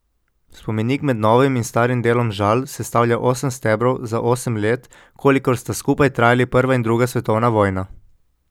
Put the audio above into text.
Spomenik med novim in starim delom Žal sestavlja osem stebrov za osem let, kolikor sta skupaj trajali prva in druga svetovna vojna.